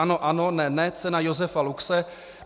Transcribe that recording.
Ano ano, ne ne, cena Josefa Luxe.